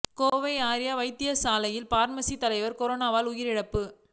Kovai Arya Vaidya Sala pharmacy தலைவர் கொரோனாவால் உயிரிழப்பு